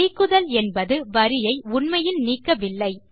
நீக்குதல் என்பது வரியை உண்மையில் நீக்கவில்லை